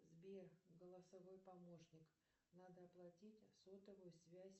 сбер голосовой помощник надо оплатить сотовую связь